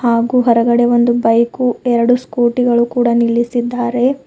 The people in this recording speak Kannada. ಹಾಗು ಹೊರಗಡೆ ಒಂದು ಬೈಕು ಎರಡು ಸ್ಕೂಟಿ ಗಳು ಕೂಡ ನಿಲ್ಲಿಸಿದ್ದಾರೆ.